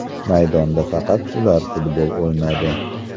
Maydonda faqat ular futbol o‘ynadi.